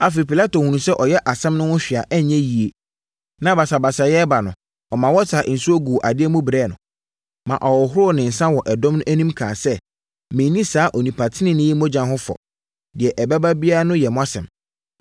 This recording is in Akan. Afei, Pilato hunuu sɛ ɔyɛ asɛm no ho hwee a ɛnyɛ yie na basabasayɛ reba no, ɔmaa wɔsaa nsuo guu adeɛ mu brɛɛ no, ma ɔhohoroo ne nsa wɔ ɛdɔm no anim kaa sɛ, “Menni saa onipa tenenee yi mogya ho fɔ. Deɛ ɛbɛba biara no yɛ mo asɛm!”